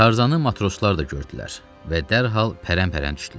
Tarzanı matroslar da gördülər və dərhal pərən-pərən düşdülər.